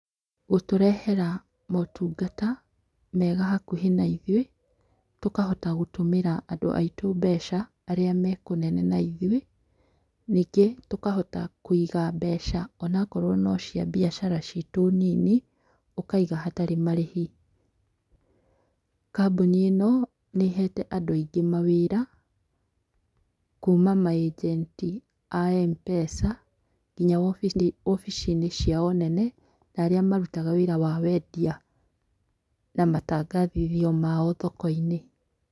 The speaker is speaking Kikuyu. Gũtũrehera motungata mega hakuhĩ naithuĩ, tũkahota gũtũmĩra andũ aitũ mbeca, arĩ mekũnene na ithwĩ. Nyingĩ tũkahota kũiga mbeca onakorwo nociambiacara citũ nini, ũkaiga hatarĩ marĩhi. Kambũni ĩno, nĩhete andũ aingĩ mawĩra kuma maĩgenti a M-Pesa, nginya wobici, wobici-inĩ ciao nene ta arĩa marutaga wĩra wa wendia na matangathithio mao thoko-inĩ.